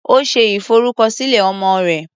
Ó ṣe ìfọrúkọsílẹ̀ ọmọ rẹ̀.